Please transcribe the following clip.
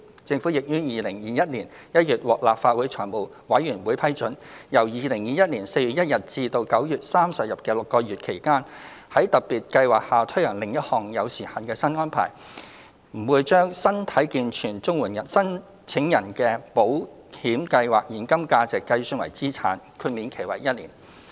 政府亦於2021年1月獲立法會財務委員會批准，由2021年4月1日至9月30日的6個月期間，在特別計劃下推行另一項有時限新安排，不把身體健全綜援申請人的保險計劃現金價值計算為資產，豁免期為1年。